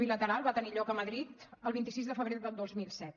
bilateral va tenir lloc a madrid el vint sis de febrer del dos mil set